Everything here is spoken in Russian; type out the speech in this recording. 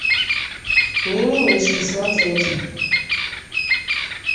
мимимишки смотреть